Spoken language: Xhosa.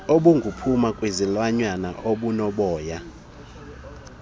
obuphuma kwizilwanyana ezinoboya